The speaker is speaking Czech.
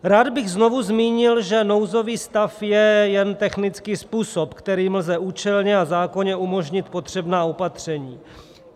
Rád bych znovu zmínil, že nouzový stav je jen technický způsob, kterým lze účelně a zákonně umožnit potřebná opatření.